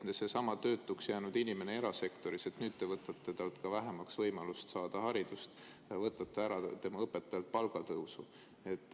Näiteks seesama töötuks jäänud inimene erasektoris – nüüd te võtate temalt vähemaks ka võimalust saada haridust, võtate tema õpetajalt ära palgatõusu.